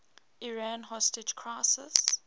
iran hostage crisis